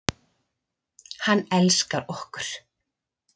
Hann elskar okkur.